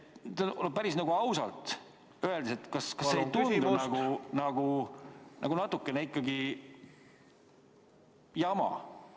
Kas päris ausalt öeldes ei tundu see siin natukene ikkagi nagu jama?